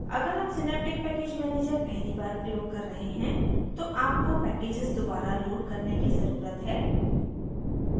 अगर आप synaptic package manager पहली बार प्रयोग कर रहे हैं तो आपको package दोबारा लोड करने की ज़रुरत है